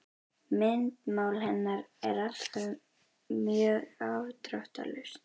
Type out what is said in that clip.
Myndmál hennar er alltaf mjög afdráttarlaust.